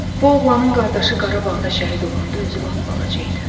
Bu oğlanın qardaşı Qarabağda şəhid olanda özü lap balaca idi.